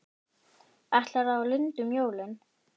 Ætlaði á Lund um jólin.